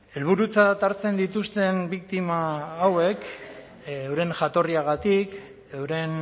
helburutzat hartzen dituzten biktima hauek euren jatorriagatik euren